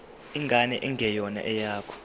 ingane engeyona eyakho